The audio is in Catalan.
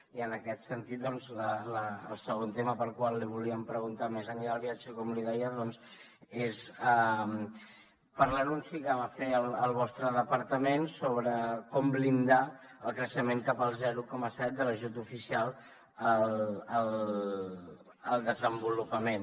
i en aquest sentit doncs el segon tema pel qual li volíem preguntar més enllà del viatge com li deia doncs és per l’anunci que va fer el vostre departament sobre com blindar el creixement cap al zero coma set de l’ajut oficial al desenvolupament